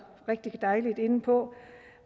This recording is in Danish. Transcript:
på